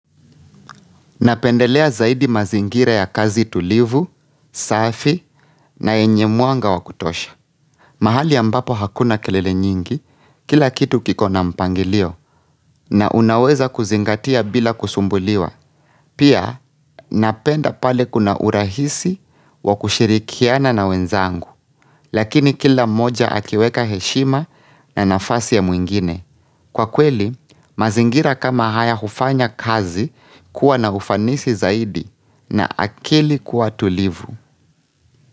Napendelea zaidi mazingira ya kazi tulivu, safi na yenye mwanga wa kutosha. Mahali ambapo hakuna kelele nyingi, kila kitu kikona mpangilio na unaweza kuzingatia bila kusumbuliwa. Pia napenda pale kuna urahisi wa kushirikiana na wenzangu, lakini kila mmoja akiweka heshima na nafasi ya mwingine. Kwa kweli, mazingira kama haya hufanya kazi kuwa na ufanisi zaidi na akili kuwa tulivu.